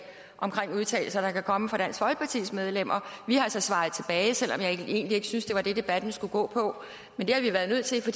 omkring udtalelser der kan komme fra dansk folkepartis medlemmer vi har så svaret tilbage selv om jeg egentlig ikke synes at det var det debatten skulle gå på men det har vi været nødt til for